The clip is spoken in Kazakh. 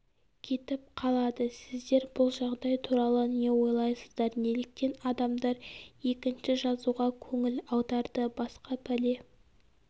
кетіп қалады сіздер бұл жағдай туралы не ойлайсыздар неліктен адамдар екінші жазуға көңіл аударды басқа пәле